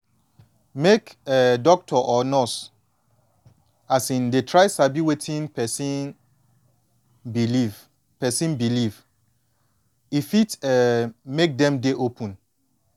make um doctor or nurse um dey try sabi wetin person believe person believe e fit um make dem dey open